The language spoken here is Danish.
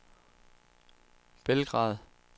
Belgrad